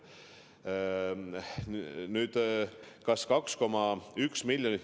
Nüüd, kas 2,1 miljonit ...